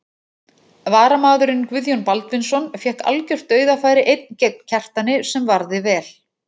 Varamaðurinn Guðjón Baldvinsson fékk algjört dauðafæri einn gegn Kjartani sem varði vel.